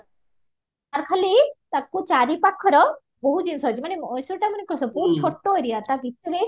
ତାର ଖାଲି ତାକୁ ଚାରିପାଖର ବୋହୁତ ଜିନିଷ ଅଛି ମାନେ ମଏଶ୍ଵର ଟା କଣ ବୋହୁତ ଛୋଟ area ତା ଭିତରେ